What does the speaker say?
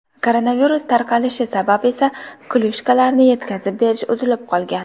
Koronavirus tarqalishi sabab esa klyushkalarni yetkazib berish uzilib qolgan.